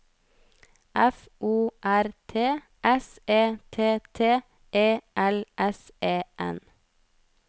F O R T S E T T E L S E N